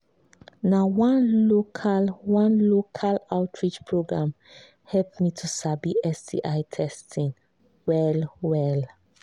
na one local one local outreach program help me to sabi sti testing well well